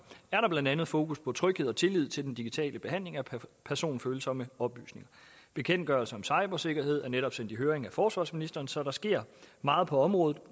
er der blandt andet fokus på tryghed og tillid til den digitale behandling af personfølsomme oplysninger bekendtgørelsen om cybersikkerhed er netop sendt i høring af forsvarsministeren så der sker meget på området